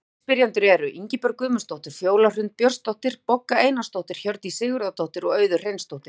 Aðrir spyrjendur eru: Ingibjörg Guðmundsdóttir, Fjóla Hrund Björnsdóttir, Bogga Einarsdóttir, Hjördís Sigurðardóttir og Auður Hreinsdóttir.